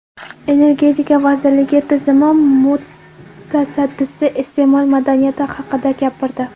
Energetika vazirligi tizimi mutasaddisi iste’mol madaniyati haqida gapirdi.